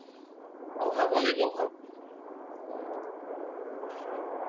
অভাব অনেক অভাব ্যাঁ হ্যাঁ অবশই